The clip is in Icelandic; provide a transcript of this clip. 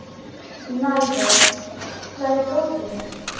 Narfi, hvar er dótið mitt?